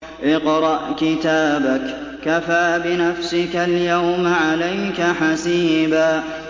اقْرَأْ كِتَابَكَ كَفَىٰ بِنَفْسِكَ الْيَوْمَ عَلَيْكَ حَسِيبًا